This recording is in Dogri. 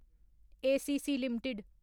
ACC limited